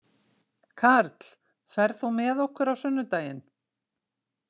Karl, ferð þú með okkur á sunnudaginn?